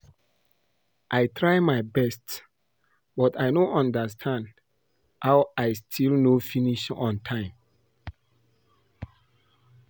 I try my best but I no understand how I still no finish on time